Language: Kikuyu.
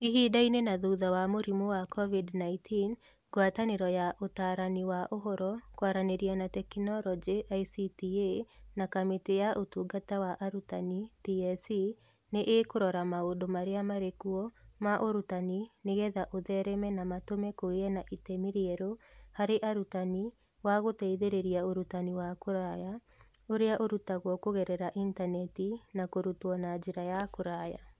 Ihinda-inĩ na thutha wa mũrimũ wa COVID-19, Ngwatanĩro ya Ũtaarani wa Ũhoro, Kwaranĩria na Teknoroji (ICTA) na Kamĩtĩ ya Ũtungata wa Arutani (TSC) nĩ ikũrora maũndũ marĩa marĩ kuo ma ũrutani nĩgetha ũthereme na matũme kũgĩe na itemi rĩerũ harĩ arutani wa gũteithĩrĩria ũrutani wa kũraya ((ũrĩa ũrutagwo kũgerera intaneti na kũrutwo na njĩra ya kũraya).